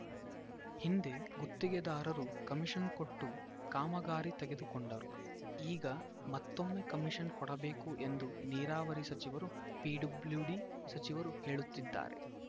ಹಿಂದೆ ಗುತ್ತಿಗೆದಾರರು ಕಮಿಷನ್‌ ಕೊಟ್ಟು ಕಾಮಗಾರಿ ತೆಗೆದುಕೊಂಡರು ಈಗ ಮತ್ತೊಮ್ಮೆ ಕಮಿಷನ್‌ ಕೊಡಬೇಕು ಎಂದು ನೀರಾವರಿ ಸಚಿವರು ಪಿಡಬ್ಲ್ಯೂಡಿ ಸಚಿವರು ಹೇಳುತ್ತಿದ್ದಾರೆ